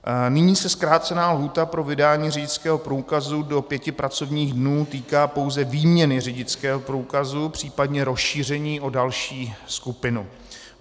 Nyní se zkrácená lhůta pro vydání řidičského průkazu do pěti pracovních dnů týká pouze výměny řidičského průkazu, případně rozšíření o další skupinu.